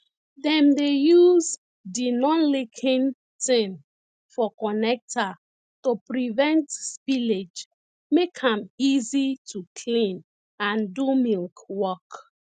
dem dey yuz de nonleaking tin for connecta to prevent spillage make am easy to clean and do milk work